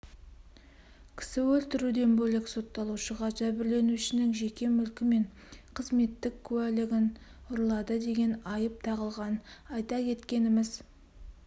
кісі өлтіруден бөлек сотталушыға жәбірленушінің жеке мүлкі мен қызметтік куәлігін ұрлады деген айып тағылған айта кеткеніміз